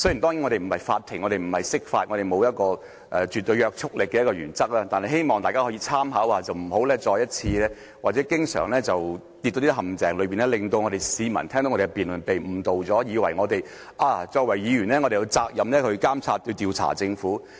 當然，我們不是法庭，我們不是釋法，我們沒有一項絕對約束力的原則，但希望大家可以參考一下，不要經常跌進陷阱，令市民聽到我們的辯論時被誤導，以為我們作為議員，有責任監察和調查政府。